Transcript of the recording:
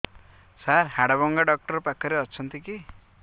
ସାର ହାଡଭଙ୍ଗା ଡକ୍ଟର ପାଖରେ ଅଛନ୍ତି କି